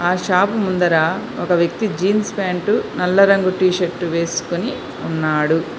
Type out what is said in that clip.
ఆ షాపు ముందర ఒక వ్యక్తి జీన్స్ ప్యాంటు నల్ల రంగు టీ షర్టు వేసుకొని ఉన్నాడు.